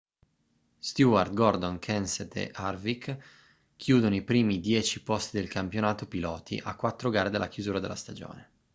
stewart gordon kenseth e harvick chiudono i primi dieci posti del campionato piloti a quattro gare dalla chiusura della stagione